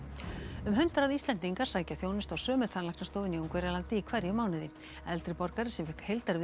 um hundrað Íslendingar sækja þjónustu á sömu tannlæknastofuna í Ungverjalandi í hverjum mánuði eldri borgari sem fékk